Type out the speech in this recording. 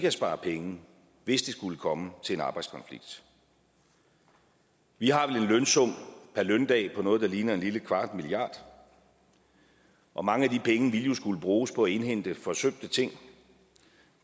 at spare penge hvis det skulle komme til en arbejdskonflikt vi har en lønsum per løndag på noget der ligner en lille kvart milliard og mange af de penge ville jo skulle bruges på at indhente forsømte ting